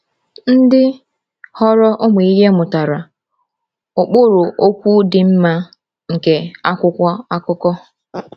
Ndị ghọrọ ụmụ ìhè mụtara “ụkpụrụ okwu dị mma” nke akwụkwọ akụkọ.